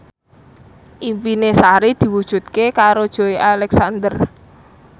impine Sari diwujudke karo Joey Alexander